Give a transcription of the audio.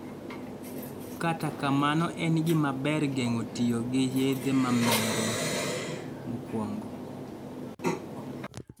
Kata kamano en gima ber geng'o tiyo gi yadhe mamero mokwongo